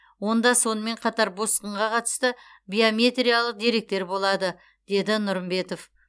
онда сонымен қатар босқынға қатысты биометриялық деректер болады деді нұрымбетов